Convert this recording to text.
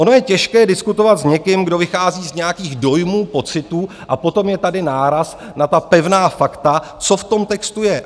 Ono je těžké diskutovat s někým, kdo vychází z nějakých dojmů, pocitů, a potom je tady náraz na ta pevná fakta, co v tom textu je.